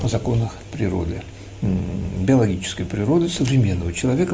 о законах природы биологической природы современного человека